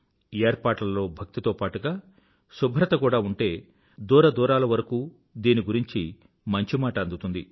ఏర్పాట్లలో భక్తి తో పాటుగా శుభ్రత కూడా ఉంటే దూరదూరాల వరకూ దీని గురించి మంచి మాట అందుతుంది